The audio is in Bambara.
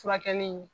Furakɛli